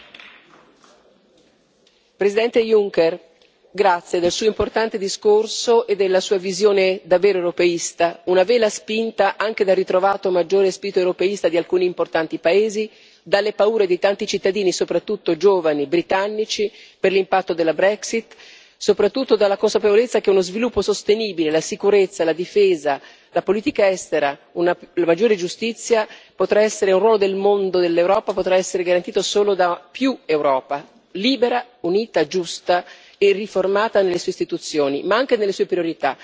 Signor Presidente, onorevoli colleghi, Presidente Juncker, La ringrazio del Suo importante discorso e della Sua visione davvero europeista, una vela spinta anche dal ritrovato maggiore spirito europeista di alcuni importanti paesi, dalle paure di tanti cittadini, soprattutto giovani britannici per l'impatto della Brexit, soprattutto dalla consapevolezza che lo sviluppo sostenibile, la sicurezza, la difesa, la politica estera, una maggiore giustizia, il ruolo nel mondo dell'Europa potranno essere garantiti solo da più Europa, un'Europa libera, unita, giusta e riformata nelle sue istituzioni, ma anche nelle sue priorità.